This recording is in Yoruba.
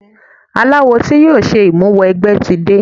Aláwo tí yóò ṣe ìmúwẹgbẹ́ tí de.